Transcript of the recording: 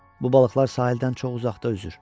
Bu balıqlar sahildən çox uzaqda üzür.